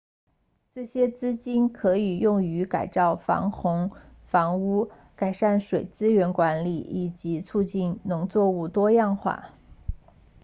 这些资金可以用于建造防洪房屋改善水资源管理以及促进农作物多样化